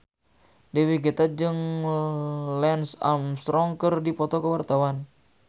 Dewi Gita jeung Lance Armstrong keur dipoto ku wartawan